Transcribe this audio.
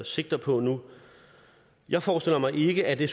sigter på nu jeg forestiller mig ikke at det